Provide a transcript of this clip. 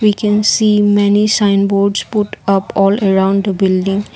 i can see many sign boards put up all around the building.